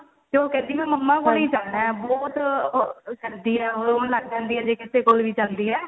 ਤੇ ਉਹ ਕਹਿੰਦੀ ਹੈ mamma ਕੋਲ ਹੀ ਜਾਣਾ ਏ ਬਹੁਤ ਕਰਦੀ ਏ ਉਹ ਰੋਣ ਲੱਗ ਪੈਂਦੀ ਏ ਜੇ ਕਿਸੇ ਕੋਲ ਵੀ ਜਾਂਦੀ ਏ